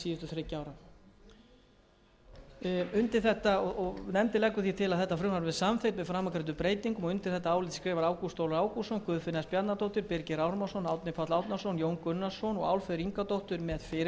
síðustu þriggja ára nefndin leggur því til að frumvarp þetta verði samþykkt með framangreindum breytingum undir þetta álit rita ágúst ólafur ágústsson guðfinna s bjarnadóttir birgir ármannsson árni páll árnason jón gunnarsson og álfheiður ingadóttir með fyrirvara birkir